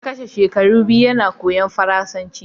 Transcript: Ya kashe shekaru biyu yana koyon Faransanci.